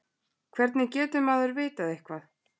hvernig getur maður vitað eitthvað